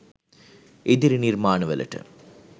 ඉදිරි නිර්මාණ වලට.